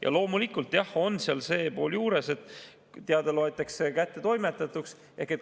Ja loomulikult on seal see pool juures, et teade loetakse kättetoimetatuks.